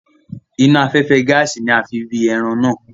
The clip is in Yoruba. Iná afẹ́fẹ́ gaàsì ni a fi wi ẹran náà.